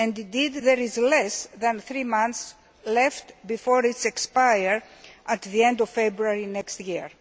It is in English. Indeed, there is less than three months left before it expires at the end of February next year.